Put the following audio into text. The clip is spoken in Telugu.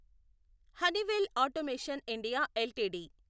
Honeywell automation India LTD